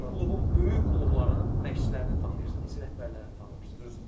Bu gün bir klubun, böyük klubların məşçilərini tanıyırsan, heç rəhbərlərini tanımırsan.